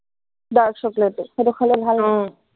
dark chocolate টো সেইটো খালে ভাল নেকি